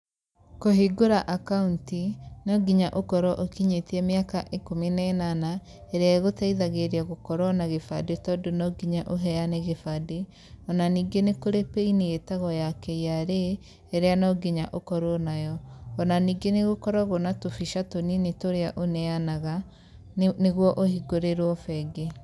Kũhingũra akaũnti, no nginya ũkorũo ũkinyĩtie mĩaka ĩkũmi na ĩnana ĩrĩa ĩgũteithagĩria gũkorũo na kĩbande tondũ no nginya ũheane kĩbande.O na ningĩ nĩ kũrĩ pin ĩtagwo ya KRA ĩria no nginya ũkorũo nayo.O na ningĩ nĩ gũkoragũo na tũbica tũnini tũria ũneanaga, nĩguo ũhingũrĩrwo bengi.